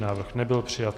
Návrh nebyl přijat.